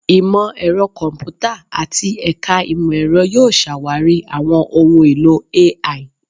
Imọ-ẹrọ Kọmputa ati Ẹka Imọ-ẹrọ yoo ṣawari awọn ohun elo AI